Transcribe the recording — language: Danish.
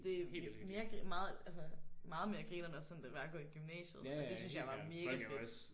Det er mere meget altså meget mere grineren end sådan det var at gå i gymnasiet og det syntes jeg var mega fedt